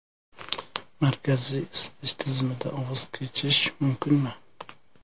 Markaziy isitish tizimidan voz kechish mumkinmi?.